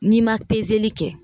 N'i ma kɛ